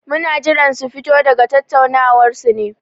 Muna jiran su fito daga tattaunawar su ne.